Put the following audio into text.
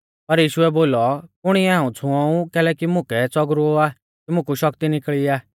पर यीशुऐ बोलौ कुणीऐ हाऊं छ़ुऔं ऊ कैलैकि मुकै च़ौगरुऔ आ कि मुकु शक्ति निकल़ी आ